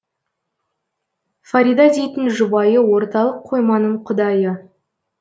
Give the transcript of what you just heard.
фарида дейтін жұбайы орталық қойманың құдайы